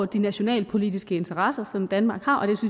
de nationalpolitiske interesser som danmark har